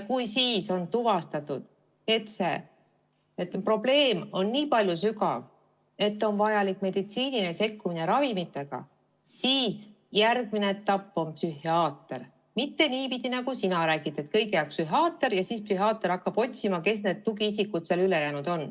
Kui siis tuvastatakse, et probleem on nii sügav, et on vajalik meditsiiniline sekkumine ravimitega, siis on järgmine etapp psühhiaater, mitte niipidi, nagu sina räägid, et kõigepealt on psühhiaater ja tema hakkab otsima, kes on need tugiisikud ja ülejäänud.